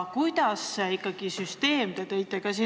Kuidas ikkagi süsteem on korraldatud?